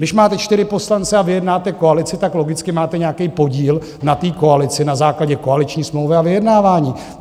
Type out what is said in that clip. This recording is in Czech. Když máte čtyři poslance a vyjednáte koalici, tak logicky máte nějaký podíl na té koalici na základě koaliční smlouvy a vyjednávání.